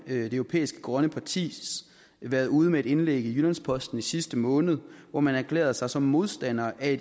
europæiske grønne parti været ude med et indlæg i jyllands posten i sidste måned hvor man erklærede sig som modstandere af